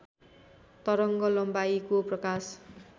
तरङ्ग लम्बाइको प्रकाश